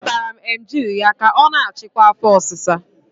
Azụtara m Emgyl ya ka ọ na-achịkwa afo osisa